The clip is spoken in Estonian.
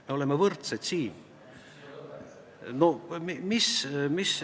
Me oleme võrdsed siin.